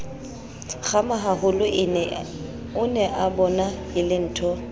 kgamahaholo o neabona e lentho